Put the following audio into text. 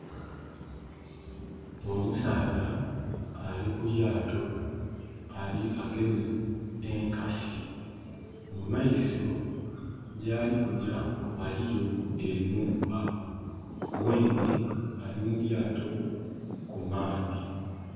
Omusaadha ali ku lyaato agemye enkasi. Mumaiso yali kugya waliyo enhumba. Mwenhe ali mulyaato ku maadhi.